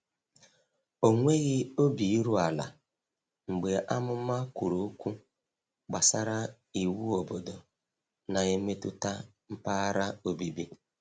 Ọ nweghị obi iru ala mgbe amụma kwuru okwu gbasara iwu obodo na-emetụta mpaghara obibi.